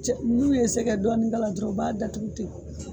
Cɛ ni u ye sɛgɛ dɔɔnin k'a la dɔrɔn u b'a datugu ten.